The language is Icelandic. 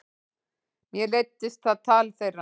Mér leiddist það tal þeirra.